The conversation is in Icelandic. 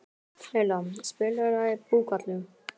Leila, spilaðu lagið „Búkalú“.